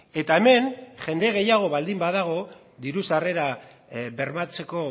eta hemen jende gehiago baldin badago diru sarrera bermatzeko